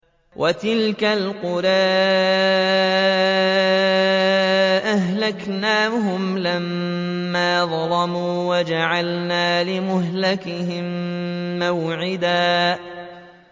وَتِلْكَ الْقُرَىٰ أَهْلَكْنَاهُمْ لَمَّا ظَلَمُوا وَجَعَلْنَا لِمَهْلِكِهِم مَّوْعِدًا